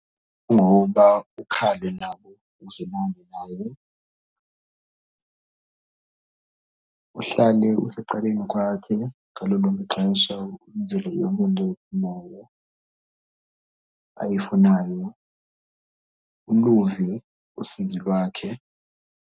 Kungoba ukhale nabo uzwelane naye. Uhlale usecaleni kwakhe ngalo lonke ixesha umenzele yonke into oyifunayo ayifunayo, uluve usizi lwakhe.